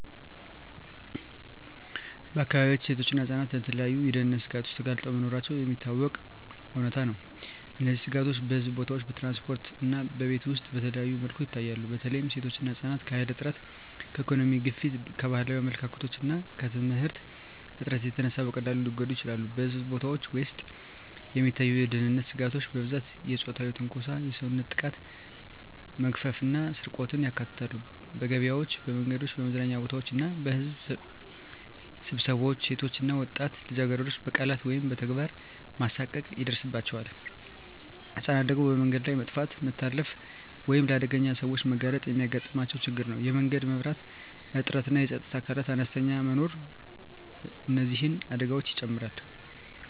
በአካባቢያችን ሴቶችና ህፃናት ለተለያዩ የደህንነት ስጋቶች ተጋልጠው መኖራቸው የሚታወቀው እውነታ ነው። እነዚህ ስጋቶች በሕዝብ ቦታዎች፣ በትራንስፖርት እና በቤት ውስጥ በተለያዩ መልኩ ይታያሉ። በተለይ ሴቶችና ህፃናት ከኃይል እጥረት፣ ከኢኮኖሚ ግፊት፣ ከባህላዊ አመለካከቶች እና ከየትምህርት እጥረት የተነሳ በቀላሉ ሊጎዱ ይችላሉ። በሕዝብ ቦታዎች ውስጥ የሚታዩ የደህንነት ስጋቶች በብዛት የፆታዊ ትንኮሳ፣ የሰውነት ጥቃት፣ መግፈፍ እና ስርቆትን ያካትታሉ። በገበያዎች፣ በመንገዶች፣ በመዝናኛ ቦታዎች እና በሕዝብ ስብሰባዎች ሴቶች እና ወጣት ልጃገረዶች በቃላት ወይም በተግባር መሳቀቅ ይደርሳባቸዋል። ህፃናት ደግሞ በመንገድ ላይ መጥፋት፣ መታለፍ ወይም ለአደገኛ ሰዎች መጋለጥ የሚያጋጥማቸው ችግር ነው። የመንገድ መብራት እጥረትና የፀጥታ አካላት አነስተኛ መኖር እነዚህን አደጋዎች ይጨምራሉ።